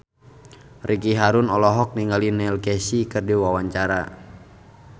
Ricky Harun olohok ningali Neil Casey keur diwawancara